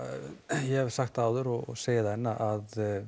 ég hef sagt það áður og segi það enn að